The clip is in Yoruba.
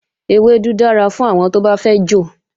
Ewédú dára fún àwọn tó bá fẹ́ jò